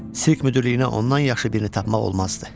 Sirk müdirliyinə ondan yaxşı birini tapmaq olmazdı.